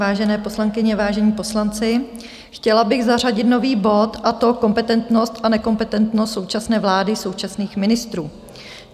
Vážené poslankyně, vážení poslanci, chtěla bych zařadit nový bod, a to Kompetentnost a nekompetentnost současné vlády, současných ministrů.